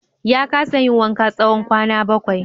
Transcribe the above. Ya kasa yin wanka tsawon kwana bakwai.